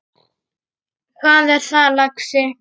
Hvað er það, lagsi?